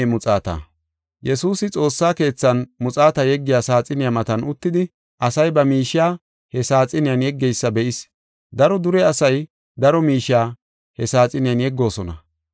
Yesuusi xoossa keethan muxaata yeggiya saaxiniya matan uttidi, asay ba miishiya he saaxiniyan yeggeysa be7is; daro dure asay daro miishiya he saaxiniyan yeggoosona.